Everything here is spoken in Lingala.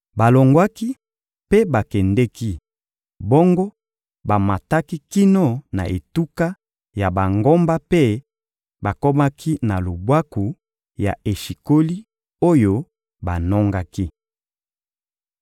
Balongwaki mpe bakendeki, bongo bamataki kino na etuka ya bangomba mpe bakomaki na lubwaku ya Eshikoli oyo banongaki.